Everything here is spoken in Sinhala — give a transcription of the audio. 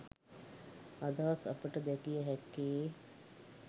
අදහස් අපට දැකිය හැක්කේ